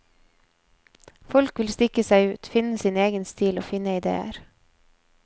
Folk vil stikke seg ut, finne sin egen stil og finne idéer.